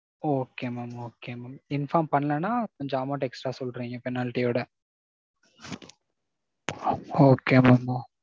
Okay mam okay mam. Inform பண்ணலனா கொஞ்சம் amount extra சொல்றீங்க penalty ஓட. Okay mam.